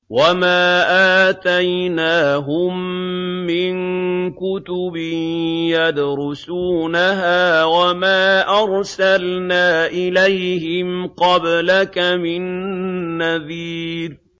وَمَا آتَيْنَاهُم مِّن كُتُبٍ يَدْرُسُونَهَا ۖ وَمَا أَرْسَلْنَا إِلَيْهِمْ قَبْلَكَ مِن نَّذِيرٍ